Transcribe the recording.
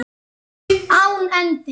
Án endis.